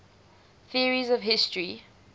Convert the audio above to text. theories of history